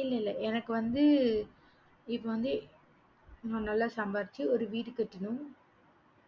இல்ல இல்ல எனக்கு வந்து இப்ப வந்து நான் நல்ல சம்பாரிச்சி ஒரு வீடு கட்டனும்